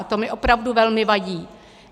A to mi opravdu velmi vadí.